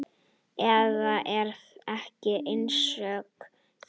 Eða er ég einsog þeir?